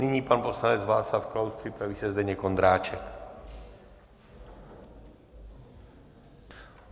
Nyní pan poslanec Václav Klaus, připraví se Zdeněk Ondráček.